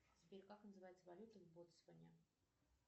сбер как называется валюта в ботсване